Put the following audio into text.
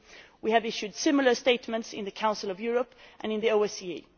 We have issued similar statements in the Council of Europe and in the OSCE.